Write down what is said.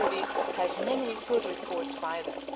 we already have many good reports by that.